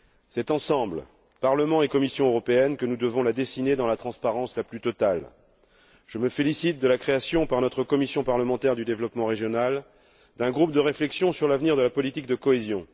C'est ensemble, Parlement et Commission européenne, que nous devons la dessiner dans la transparence la plus totale. Je me félicite de la création, par notre commission parlementaire du développement régional, d'un groupe de réflexion sur l'avenir de la politique de cohésion.